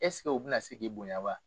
u bɛ na si k'i bonya wa?